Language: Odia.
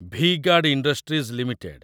V Guard Industries limited